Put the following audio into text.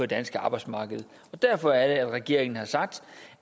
danske arbejdsmarked derfor er det at regeringen har sagt